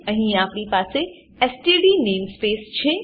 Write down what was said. અહીં આપણી પાસે એસટીડી નેમસ્પેસ છે